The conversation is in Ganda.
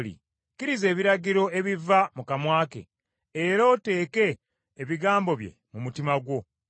Kkiriza ebiragiro ebiva mu kamwa ke era oteeke ebigambo bye mu mutima gwo.